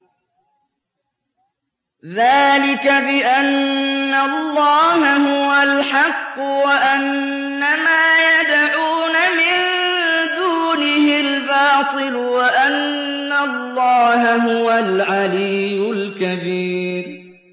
ذَٰلِكَ بِأَنَّ اللَّهَ هُوَ الْحَقُّ وَأَنَّ مَا يَدْعُونَ مِن دُونِهِ الْبَاطِلُ وَأَنَّ اللَّهَ هُوَ الْعَلِيُّ الْكَبِيرُ